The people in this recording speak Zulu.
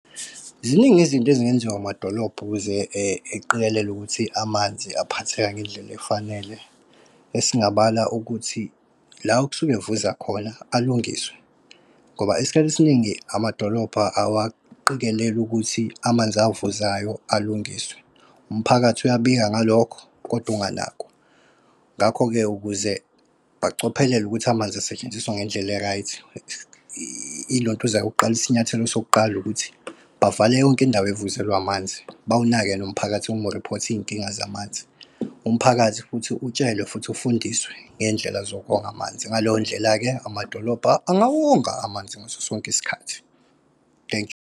Ziningi izinto ezingenziwa amadolobha ukuze eqikelele ukuthi amanzi aphatheka ngendlela efanele. Esingabala ukuthi la okusuke kuvuza khona alungiswe, ngoba isikhathi esiningi amadolobha awaqikelele ukuthi amanzi avuzayo alungiswe. Umphakathi uyabika ngalokho, kodwa unganakwa. Ngakho-ke ukuze bacophelele ukuthi amanzi asetshenziswa ngendlela e-right ilo ntuza yokuqala, isinyathelo sokuqala ukuthi bavale yonke indawo evuzelwa amanzi, bawunake nomphakathi uma uriphotha iy'nkinga zamanzi. Umphakathi futhi utshelwe futhi ufundiswe ngendlela zokonga amanzi. Ngaleyo ndlela-ke amadolobha angawonga amanzi ngaso sonke isikhathi. Thank you.